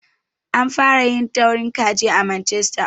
An fara yin taurin kaji a Manchester.